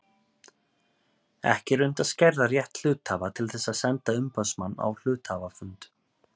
Ekki er unnt að skerða rétt hluthafa til þess að senda umboðsmann á hluthafafund.